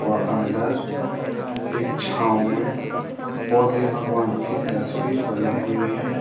व अंदर एक छांव में बौद्ध भगवान की तस्वीर बनी हुई हैं।